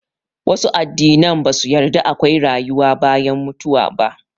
Wasu addinan ba su yarda akwai rayuwa bayan mutuwa ba